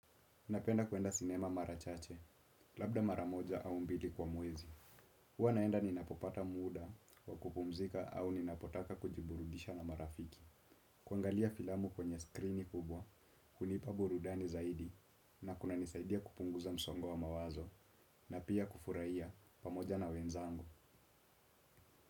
Napenda kuenda sinema marachache, labda maramoja au mbili kwa mwezi. Huwa naenda ninapopata muuda wa kupumzika au ninapotaka kujiburudisha na marafiki. Kuangalia filamu kwenye screeni kubwa, hunipa burudani zaidi na kuna nisaidia kupunguza msongo wa mawazo na pia kufurahia pamoja na wenzangu.